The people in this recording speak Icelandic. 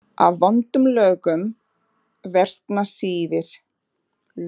Af vondum lögum versna siðir.